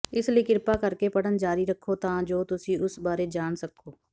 ਇਸ ਲਈ ਕ੍ਰਿਪਾ ਕਰਕੇ ਪੜ੍ਹਨ ਜਾਰੀ ਰੱਖੋ ਤਾਂ ਜੋ ਤੁਸੀਂ ਉਸ ਬਾਰੇ ਜਾਣ ਸਕੋ